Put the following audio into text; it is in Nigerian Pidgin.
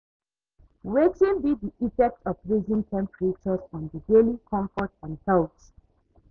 wetin be di effect of rising temperatures on di daily comfort and health?